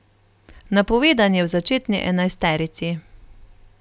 Napovedan je v začetni enajsterici.